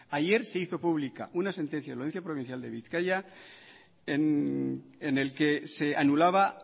ayer se hizo pública una sentencia de la audiencia provincial de bizkaia en el que se anulaba